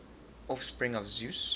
offspring of zeus